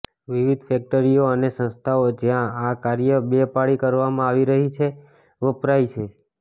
વિવિધ ફેક્ટરીઓ અને સંસ્થાઓ જ્યાં આ કાર્ય બે પાળી કરવામાં આવી રહી છે વપરાય છે